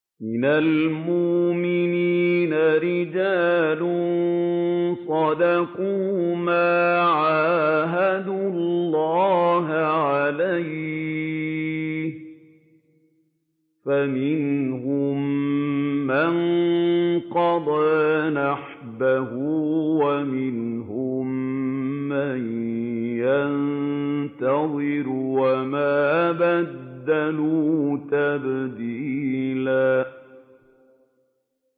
مِّنَ الْمُؤْمِنِينَ رِجَالٌ صَدَقُوا مَا عَاهَدُوا اللَّهَ عَلَيْهِ ۖ فَمِنْهُم مَّن قَضَىٰ نَحْبَهُ وَمِنْهُم مَّن يَنتَظِرُ ۖ وَمَا بَدَّلُوا تَبْدِيلًا